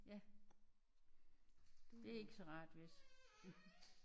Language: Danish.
Ja det er ikke så rart vist